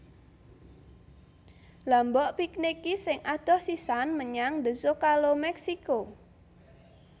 Lha mbok piknik ki sing adoh sisan menyang The Zocalo Meksiko